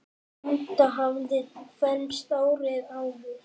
Linda hafði fermst árið áður.